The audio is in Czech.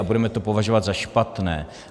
A budeme to považovat za špatné.